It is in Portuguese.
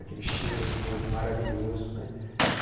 Aquele cheiro, de novo, maravilhoso, né.